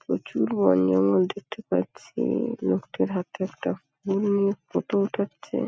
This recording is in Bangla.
প্রচুর বন জঙ্গল দেখতে পাচ্ছি। লোকটার হাতে একটা ফটো ওঠাচ্ছে।